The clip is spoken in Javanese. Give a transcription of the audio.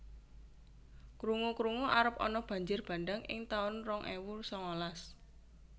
Krungu krungu arep ana banjir bandhang ing taun rong ewu sangalas